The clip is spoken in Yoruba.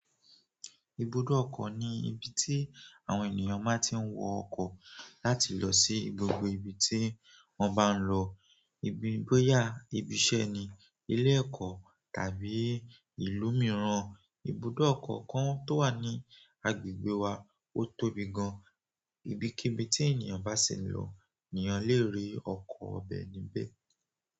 Ibùdó ọkọ̀ ni ibi tí àwọn ènìyàn ma ti ń wọ ọkọ̀ láti lọ sí gbogbo ibi tí wọ́n bá ń lọ, ibi bóyá, ibi iṣẹ́ ni, ilé ẹ̀kọ́ tàbí ìlú mìíràn. Ibùdó ọkọ̀ kan tó wà ní agbègbè wa ó tóbi gan. Ibi kíbi tí ènìyàn bá sì ń lọ, ènìyàn lè rí ọkọ̀ bẹ̀ níbẹ̀.